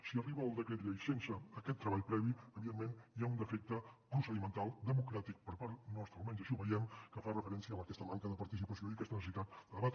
si arriba el decret llei sense aquest treball previ evidentment hi ha un defecte procedimental democràtic per part nostra almenys així ho veiem que fa referència a aquesta manca de participació i a aquesta necessitat de debatre